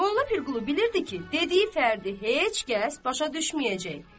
Molla Pirqulu bilirdi ki, dediyi fərdi heç kəs başa düşməyəcək.